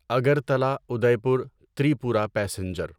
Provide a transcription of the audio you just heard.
Agartala Udaipur Tripura passenger